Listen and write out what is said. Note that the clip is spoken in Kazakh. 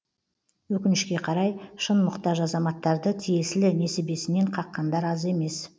өкінішке қарай шын мұқтаж азаматтарды тиесілі несібесінен қаққандар аз емес